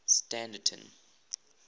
standerton